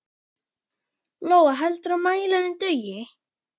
Lóa: Heldurðu að mælirinn dugi?